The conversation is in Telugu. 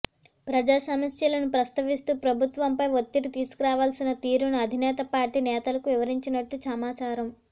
ప్రజా సమస్యలను ప్రస్తావిస్తూ ప్రభుత్వంపై ఒత్తిడి తీసుకురావాల్సిన తీరును అధినేత పార్టీ నేతలకు వివరించినట్టు సమాచారం